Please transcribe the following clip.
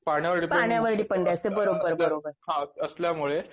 पाण्यावर डिपेंड हा असल्यामुळें